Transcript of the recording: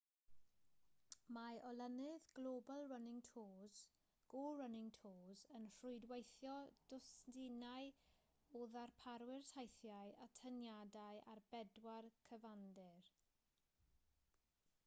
mae olynydd global running tours go running tours yn rhwydweithio dwsinau o ddarparwyr teithiau atyniadau ar bedwar cyfandir